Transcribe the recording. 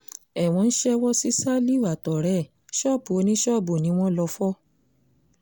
ẹ̀wọ̀n ń ṣèwọ sí ṣálíhù àtọ̀rẹ́ ẹ̀ ṣọ́ọ̀bù oníṣọ́ọ̀bù ni wọ́n lọ́ọ́ fọ́